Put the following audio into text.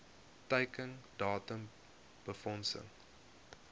teiken datum befondsing